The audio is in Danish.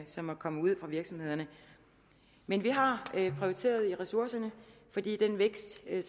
som er kommet ud fra virksomhederne men vi har prioriteret ressourcerne den vækst der